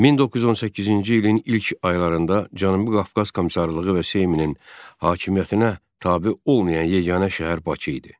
1918-ci ilin ilk aylarında Cənubi Qafqaz Komissarlığı və Seymin hakimiyyətinə tabe olmayan yeganə şəhər Bakı idi.